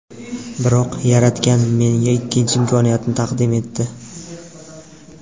Biroq Yaratgan menga ikkinchi imkoniyatni taqdim etdi.